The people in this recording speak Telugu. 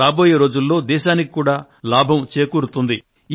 రాబోయే రోజుల్లో దేశానికి కూడా లాభం చేకూరుతుంది